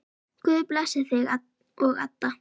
Guð blessi þig og Adda.